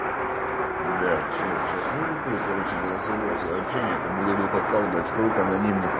да все сейчас ну уже тут короче голосовое сообщение как будто бы попал блять в круг анонимных